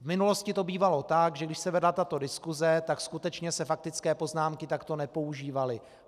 V minulosti to bývalo tak, že když se vedla tato diskuse, tak skutečně se faktické poznámky takto nepoužívaly.